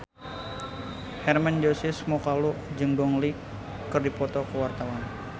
Hermann Josis Mokalu jeung Gong Li keur dipoto ku wartawan